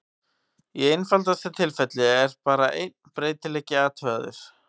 Í einfaldasta tilfelli er bara einn breytileiki athugaður.